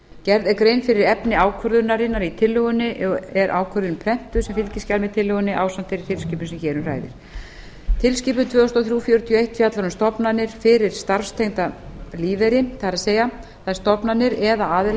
gerð er grein fyrir efni ákvörðunarinnar í tillögunni og er ákvörðunin prentuð sem fylgiskjal með tillögunni ásamt þeirri tilskipun sem hér um ræðir tilskipun tvö þúsund og þrjú fjörutíu og eitt fjallar um stofnanir fyrir starfstengdan lífeyri það er þær stofnanir eða aðila